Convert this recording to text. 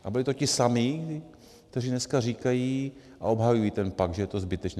A byli to ti samí, kteří dneska říkají - a obhajují ten pakt - že je to zbytečné.